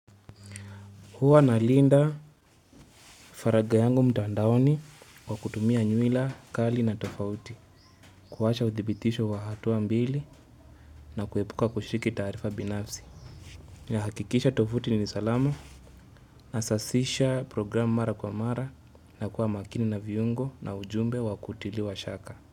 Huwa nalinda faraga yangu mtandaoni kwa kutumia nyuila, kali na tofauti, kuwasha uthibitisho wa hatua mbili na kuhepuka kushiriki taarifa binafsi. Hakikisha tovuti ni salama na sasisha program mara kwa mara na kuwa makini na viungo na ujumbe wa kutiliwa shaka.